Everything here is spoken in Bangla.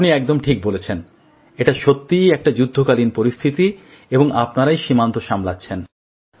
আপনি একদম ঠিক বলেছেন এটা সত্যিই একটা যুদ্ধকালীন পরিস্থিতি এবং আপনারাই সীমান্ত সামলাচ্ছেন